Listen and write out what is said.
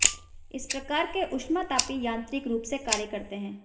इस प्रकार के ऊष्मातापी यांत्रिक रूप से कार्य करते हैं